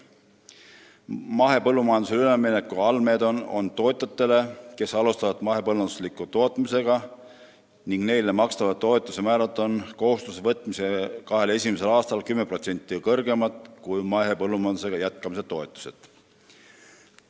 Mahepõllumajandusele ülemineku allmeede on mõeldud tootjatele, kes alustavad mahepõllunduslikku tootmist, ning neile makstava toetuse määrad on kohustuse võtmise kahel esimesel aastal 10% kõrgemad kui mahepõllumajandusega jätkamise toetused.